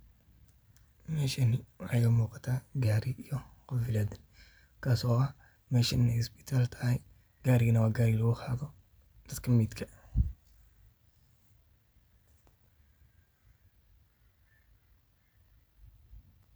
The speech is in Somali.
Meshani waxa iga muqata Gari iyo qoflaad kasi oo ah iney isbital tahay Gari gaan waa Gari lagu qaato daadka medka.